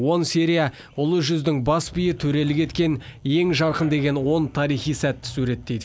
он серия ұлы жүздің бас биі төрелік еткен ең жарқын деген он тарихи сәтті суреттейді